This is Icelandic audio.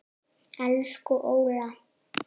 Elsku Óla.